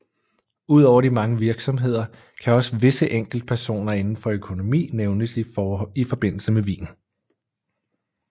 Udover de mange virksomheder kan også visse enkeltpersoner inden for økonomi nævnes i forbindelse med Wien